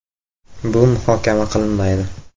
Bu muhokama qilinmaydi”.